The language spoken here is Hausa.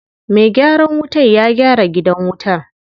Me gyaran wutan ya gyara gidan wutan.